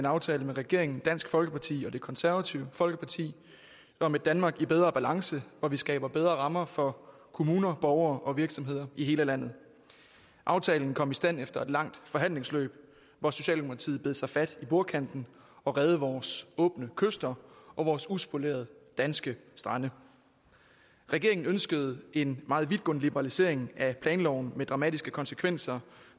aftale med regeringen dansk folkeparti og det konservative folkeparti om et danmark i bedre balance hvor vi skaber bedre rammer for kommuner borgere og virksomheder i hele landet aftalen kom i stand efter et langt forhandlingsforløb hvor socialdemokratiet bed sig fast i bordkanten og reddede vores åbne kyster og vores uspolerede danske strande regeringen ønskede en meget vidtgående liberalisering af planloven med dramatiske konsekvenser